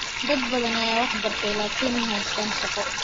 dad badan ayaa wax bartay, laakin ma haystaan shaqo.